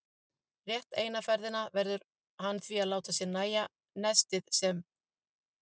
Rétt eina ferðina verður hann því að láta sér nægja nestið sem